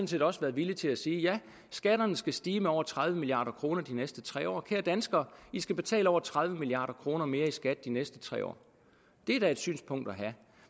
set også været villig til at sige ja skatterne skal stige med over tredive milliard kroner de næste tre år kære danskere i skal betale over tredive milliard kroner mere i skat de næste tre år det er da et synspunkt at have